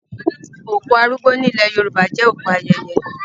Òkú arúgbó nílẹ̀ Yorùbá jẹ́ òkú ayẹyẹ.